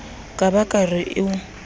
ka ba ke re o